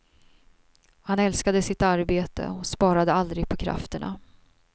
Han älskade sitt arbete och sparade aldrig på krafterna.